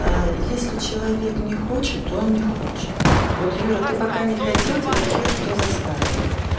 а если человек не хочет то он не хочет вот юра ты пока не хотел тебя хер кто заставил